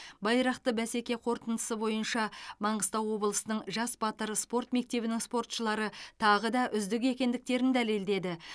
байрақты бәсеке қорытындысы бойынша маңғыстау облысының жас батыр спорт мектебінің спортшылары тағы да үздік екендіктерін дәлелдеді